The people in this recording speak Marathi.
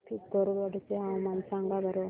पिथोरगढ चे हवामान सांगा बरं